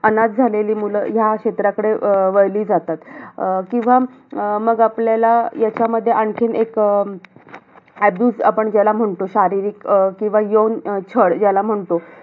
अनाथ झालेली मुलं, या क्षेत्राकडे अं वळली जातात. अं किंवा मग आपल्याला, याच्यामध्ये एक आणखीन अं abuse आपण ज्याला म्हणतो. अं शारीरिक अं किंवा यौन छळ ज्याला म्हणतो.